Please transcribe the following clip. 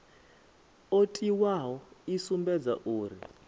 o tiwaho i sumbedzaho uri